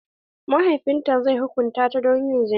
Mahaifin ta zai hukunta ta don yin zina.